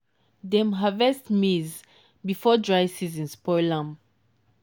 dem harvest maize before dry season spoil am.